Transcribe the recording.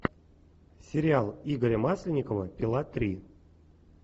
сериал игоря масленникова пила три